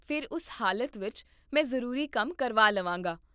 ਫਿਰ ਉਸ ਹਾਲਤ ਵਿੱਚ ਮੈਂ ਜ਼ਰੂਰੀ ਕੰਮ ਕਰਵਾ ਲਵਾਂਗਾ